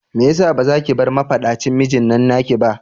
Mai yasa bazaki bar mafaɗacin mijinnan naki ba?